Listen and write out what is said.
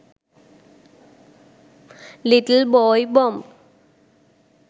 little boy bomb